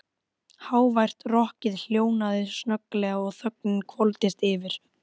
Hávært rokkið hljóðnaði snögglega og þögnin hvolfdist yfir.